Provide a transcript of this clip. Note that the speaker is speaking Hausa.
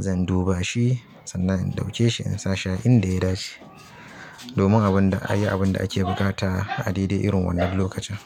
zan duba shi sannan in ɗauke shi in sa shi a inda ya dace, domin a yi abin da ake buƙata a daidai irin wannan lokacin.